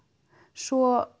svo